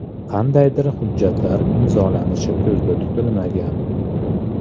Qandaydir hujjatlar imzolanishi ko‘zda tutilmagan.